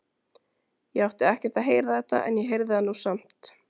Ég átti ekkert að heyra þetta en ég heyrði það nú samt.